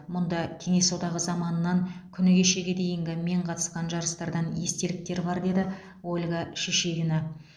мұнда кеңес одағы заманынан күні кешеге дейінгі мен қатысқан жарыстардан естеліктер бар деді ольга шишигина